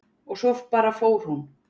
Og svo bara fór hún.